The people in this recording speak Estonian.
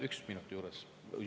Üks minut juurde, paluks.